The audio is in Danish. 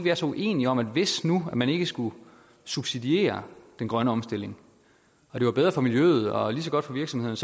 er så uenige om at hvis nu man ikke skulle subsidiere den grønne omstilling og det var bedre for miljøet og lige så godt for virksomhederne